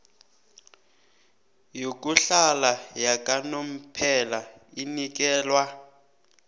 yokuhlala yakanomphela inikelwa